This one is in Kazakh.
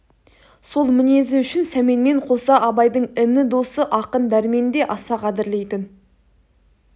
сол мінезі үшін сәменмен қоса абайдың іні досы ақын дәрмен де аса қадірлейтін